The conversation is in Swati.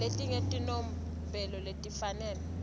ngaletinye tibonelo letifanele